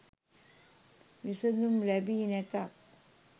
විසඳුම් ලැබි නැතත්